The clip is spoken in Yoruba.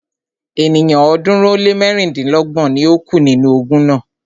Ènìyàn ọ̀ọ́dúnrún ó lé mẹ́rìndínlọ́gbọ̀n ni o kú nínú ogun náà.